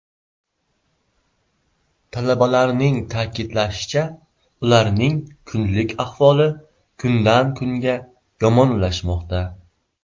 Talabalarning ta’kidlashicha, ularning kunlik ahvoli kundan kunga yomonlashmoqda.